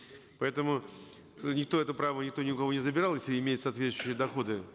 поэтому э никто это право никто ни у кого не забирал если имеют соответствующие доходы